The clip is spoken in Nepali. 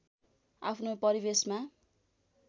आफ्नो परिवेशमा